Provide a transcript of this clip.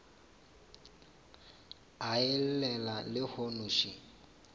a e llela lehono še